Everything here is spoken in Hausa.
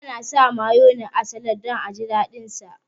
Ana sa mayones a salad don aji daɗin ci